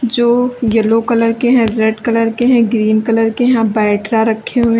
जो yellow colour के हैं रेड कलर के हैं ग्रीन कलर के यहां बैटरा रखे हुए --